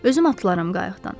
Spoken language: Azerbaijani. Özüm atlaram qayıqdan.